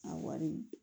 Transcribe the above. A wari